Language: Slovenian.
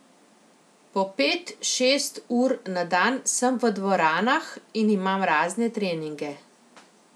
Po pet, šest ur na dan sem v dvoranah in imam razne treninge.